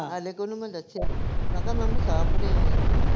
ਹਲੇ ਤਾਂ ਓਹਨੂੰ ਮੈਂ ਦਸਿਆ ਵਾਂ, ਮੈਂ ਕਿਹਾ ਮੈਂ ਮਸਾਹਪੂਰੇ ਆਈ ਆ